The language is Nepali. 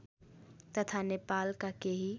तथा नेपालका केही